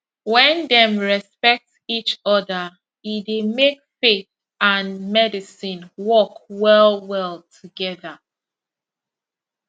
when dem respect each other e dey make faith and medicine work well well together